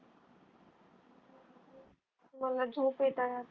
मला झोप येत आहे आता .